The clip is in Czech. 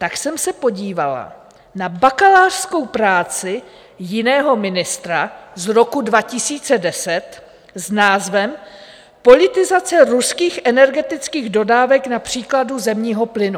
Tak jsem se podívala na bakalářskou práci jiného ministra z roku 2010 s názvem Politizace ruských energetických dodávek na příkladu zemního plynu.